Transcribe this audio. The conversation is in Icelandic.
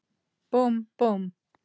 Búmm, búmm.